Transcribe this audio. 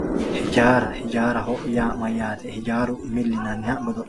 ijaara ijaaraho yaa mayaate ijaaru mili yinanniha godo'linan